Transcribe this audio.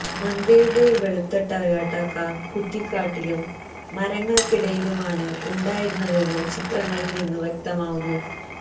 മന്ത്രിയുടെ വെളുത്ത Toyota car കുറ്റിക്കാട്ടിലും മരങ്ങള്ക്കുമിടയിലുമാണ് ഉണ്ടായിരുന്നതെന്നു ചിത്രങ്ങളില് നിന്നു വ്യക്തമാവുന്നു